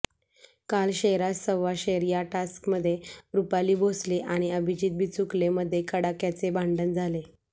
काल शेरास सव्वा शेर या टास्कमध्ये रुपाली भोसले आणि अभिजीत बिचुकले मध्ये कडाक्याचे भांडण झाले